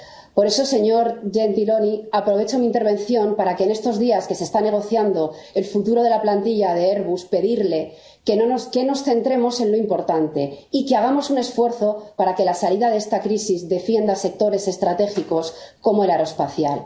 Por eso, señor Gentiloni, aprovecho mi intervención para, en estos días en que se está negociando el futuro de la plantilla de Airbus, pedirle que nos centremos en lo importante y que hagamos un esfuerzo para que la salida de esta crisis defienda sectores estratégicos como el aeroespacial.